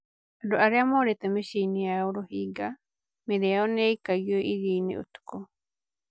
Andũ arĩa morĩte mĩciĩ yao Rohingya: 'Mĩĩrĩ nĩ yaikagio iria-inĩ ũtukũ'